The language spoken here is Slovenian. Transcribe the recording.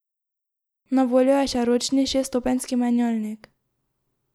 Na voljo je še ročni šeststopenjski menjalnik.